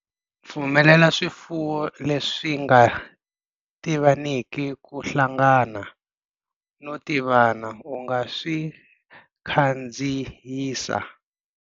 Pfumelela swifuwo leswi nga tivaniki ku hlangana no tivana u nga si swi khandziyisa.